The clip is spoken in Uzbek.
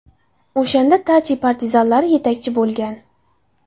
O‘shanda Tachi partizanlar yetakchisi bo‘lgan.